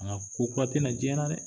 nka ko kura tɛ na diɲɛ na dɛ.